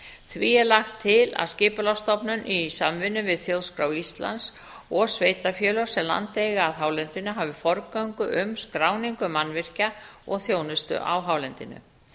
því er lagt til að skipulagsstofnun í samvinnu við þjóðskrá íslands og sveitarfélög sem land eiga að hálendinu hafi forgöngu um skráningu mannvirkja og þjónustu á hálendinu